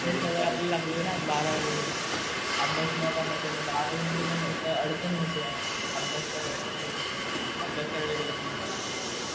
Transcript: तुरंत हि सवय आपल्याला लागली ना. अभ्यास न करण्याची. आता बारावी मध्ये पण अडचण होते आहे. अभ्यास करायला, अभ्यास करायला गेलं कि.